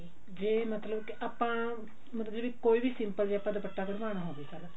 ਜੇ ਮਤਲਬ ਕਿ ਆਪਾਂ ਮਤਲਬ ਕਿ ਕੋਈ ਵੀ ਆਪਾਂ simple ਜਾ ਦੁਪੱਟਾ ਕਢਵਾਨਾਂ ਹੋਵੇ